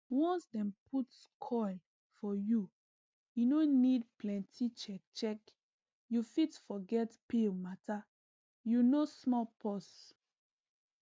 once dem put coil for u e no need plenty checkcheck you fit forget pill matter you know small pause